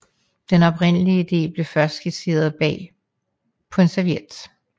Den oprindelige ide blev først skitseret bag på en serviet